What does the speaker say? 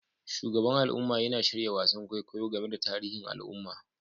Shugaban al'umma yana shirya wasan kwaikwayo game da tarihin al'umma